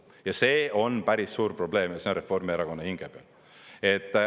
Ja see on päris suur probleem ja see on Reformierakonna hinge peal.